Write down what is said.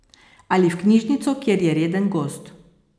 Ali v knjižnico, kjer je reden gost.